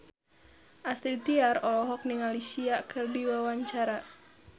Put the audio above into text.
Astrid Tiar olohok ningali Sia keur diwawancara